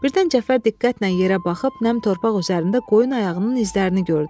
Birdən Cəfər diqqətlə yerə baxıb nəm torpaq üzərində qoyun ayağının izlərini gördü.